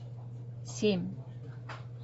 семь